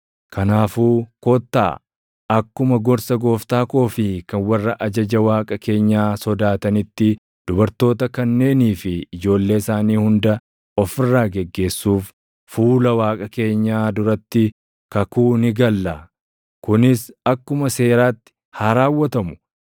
Kanaafuu kottaa akkuma gorsa gooftaa koo fi kan warra ajaja Waaqa keenyaa sodaatanitti dubartoota kanneenii fi ijoollee isaanii hunda of irraa geggeessuuf fuula Waaqa keenyaa duratti kakuu ni galla. Kunis akkuma Seeraatti haa raawwatamu.